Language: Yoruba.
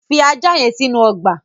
Fi ajá yen sínú ogbà